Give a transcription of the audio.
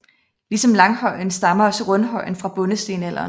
Ligesom langhøjen stammer også rundhøjen fra bondestenalderen